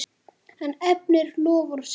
Hann efnir loforð sitt.